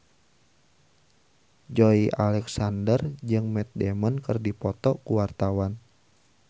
Joey Alexander jeung Matt Damon keur dipoto ku wartawan